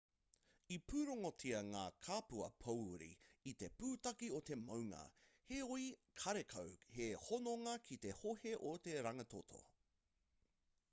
i pūrongotia ngā kapua pōuri i te pūtake o te maunga heoi karekau he hononga ki te hohe o te rangitoto